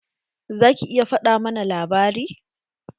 Za ki iya faɗa mana labari?